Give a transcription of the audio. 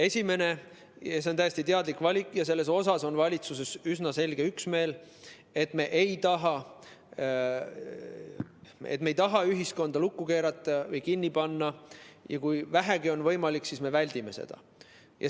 Esimene on täiesti teadlik valik ja selles on valitsuses üsna selge üksmeel: me ei taha ühiskonda lukku keerata või kinni panna ja kui vähegi on võimalik, siis me väldime seda.